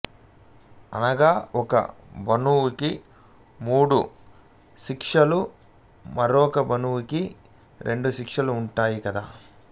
అనగా ఒక బణువుకి మూడు శీర్షాలు మరొక బణువుకి రెండు శీర్షాలు ఉంటాయి కదా